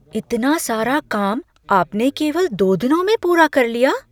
इतना सारा काम आपने केवल दो दिनों में पूरा कर लिया?